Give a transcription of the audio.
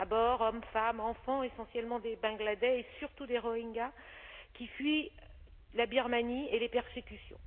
À bord, hommes, femmes, enfants, essentiellement des Bangladais, et surtout des Rohingyas qui fuient la Birmanie et les persécutions.